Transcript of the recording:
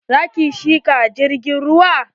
Za ki shiga jirgin ruwa?